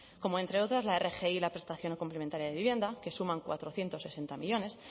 como entre otras la rgi y la prestación complementaria de vivienda que suman cuatrocientos sesenta millónes